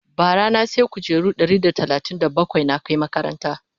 bara na saya kujeru Ɗari da talatin da bakwai na Kai makarantan